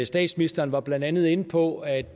statsministeren var blandt andet inde på at